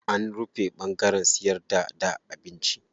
An rufe ɓangaren siyarda da abinci.